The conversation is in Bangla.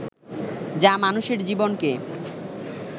যা মানুষের জীবনকে